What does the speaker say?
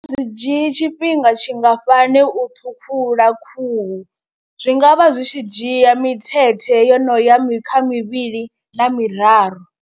A zwi dzhii tshifhinga tshingafhani u ṱhukhula khuhu zwi nga vha zwi tshi dzhia mithethe yo no ya mi kha mivhili na miraru.